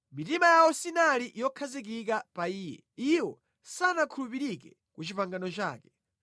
Mitima yawo sinali yokhazikika pa Iye, iwo sanakhulupirike ku pangano lake.